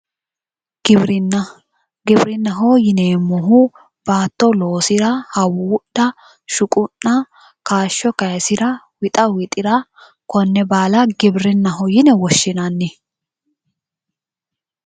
Giwirinna giwirinnaho yineemohu baatto loosira hawuudha shuqu'na kayisho kayisira wixa wixira konne baala giwirinnaho Yine woshinanni